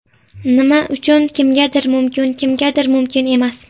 Nima uchun kimgadir mumkin, kimgadir mumkin emas.